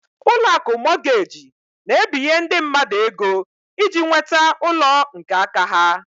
Ụlọakụ Mọgeji na-ebinye ndị mmadụ ego iji nweta ụlọ nke áká ha.